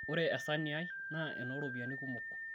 ore esaani ai naa enooropiani kumok